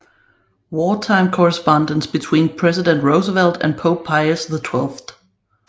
Wartime Correspondence Between President Roosevelt and Pope Pius XII